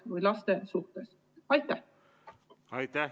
Aitäh!